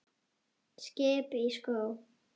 Skip í sjó.